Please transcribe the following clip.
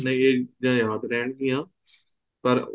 ਇਹ ਚੀਜ਼ਾਂ ਯਾਦ ਰਹਿਣ ਗਈਆਂ ਪਰ